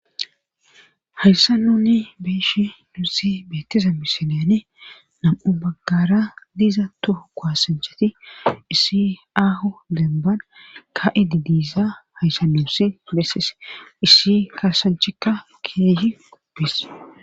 hayssa nunni beeshi nuussi beettiza misilyane nam7u baggara diiza tohu kuhasancheti isi aho demban ka7idi diiza hayssa nuussi besses issi kaasanchikka keehi gupes